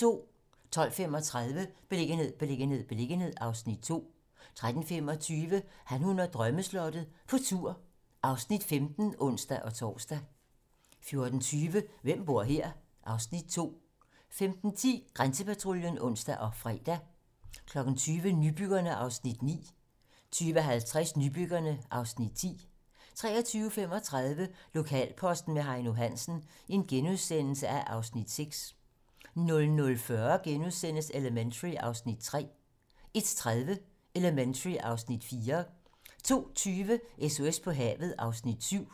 12:35: Beliggenhed, beliggenhed, beliggenhed (Afs. 2) 13:25: Han, hun og drømmeslottet - på tur (Afs. 15)(ons-tor) 14:20: Hvem bor her? (Afs. 2) 15:10: Grænsepatruljen (ons og fre) 20:00: Nybyggerne (Afs. 9) 20:50: Nybyggerne (Afs. 10) 23:35: Lokalposten med Heino Hansen (Afs. 6)* 00:40: Elementary (Afs. 3)* 01:30: Elementary (Afs. 4) 02:20: SOS på havet (Afs. 7)